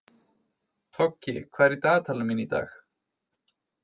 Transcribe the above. Toggi, hvað er í dagatalinu mínu í dag?